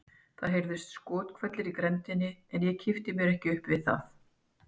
Það heyrðust skothvellir í grenndinni en ég kippti mér ekkert upp við það.